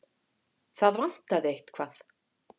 Það vantaði eitthvað.